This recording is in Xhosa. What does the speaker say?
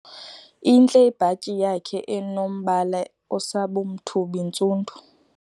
Intle ibhatyi yakhe enombala osabumthubi-ntsundu.